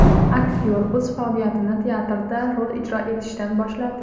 Aktyor o‘z faoliyatini teatrda rol ijro etishdan boshladi.